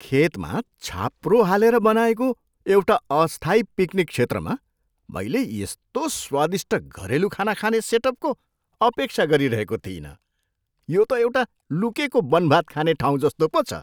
खेतमा छाप्रो हालेर बनाएको एउटा अस्थायी पिकनिक क्षेत्रमा मैले यस्तो स्वादिष्ट घरेलु खाना खाने सेटअपको अपेक्षा गरिरहेको थिइनँ! यो त एउटा लुकेको बनभात खाने ठाउँ जस्तो पो छ!